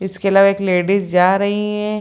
इसके अलावा एक लेडीज जा रही है।